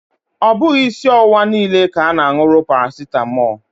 Ọ bughị isi ọwụwa niile ka a na anwụrụ paracetamọọlụ